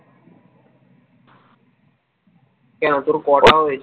কেন তোর কটা হয়েছে ?